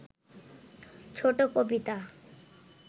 ছোট কবিতা